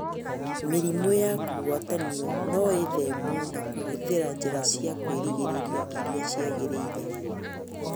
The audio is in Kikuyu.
Mirimũ ya kũgwatanio noĩthemwo na kũhũthĩra njĩra cia kwĩrigĩrria irĩa ciagĩrĩire